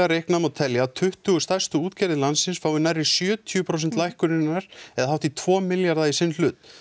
reiknað megi telja að tuttugu stærstu útgerðir landsins fái um sjötíu prósent lækkunarinnar eða hátt í tvo milljarða í sinn hlut